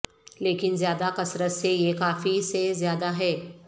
لیکن زیادہ کثرت سے یہ کافی سے زیادہ ہے